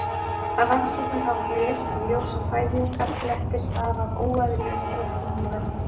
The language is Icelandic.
rannsóknir hafa þó leitt í ljós að fæðingarblettir stafa af óeðlilegri þroskun húðarinnar